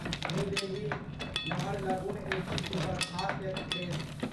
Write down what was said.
new Delhi Naharlagun AC superfast express